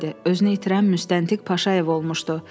Özünü itirən müstəntiq Paşayev olmuşdu.